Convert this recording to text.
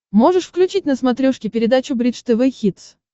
можешь включить на смотрешке передачу бридж тв хитс